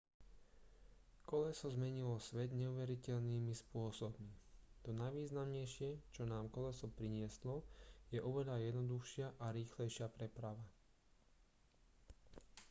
koleso zmenilo svet neuveriteľnými spôsobmi to najvýznamnejšie čo nám koleso prinieslo je oveľa jednoduchšia a rýchlejšia preprava